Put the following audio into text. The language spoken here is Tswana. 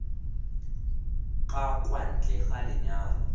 ka kwa ntle ga lenyalo